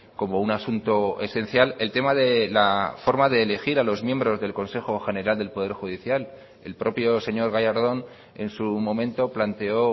como un asunto esencial el tema de la forma de elegir a los miembros del consejo general del poder judicial el propio señor gallardón en su momento planteó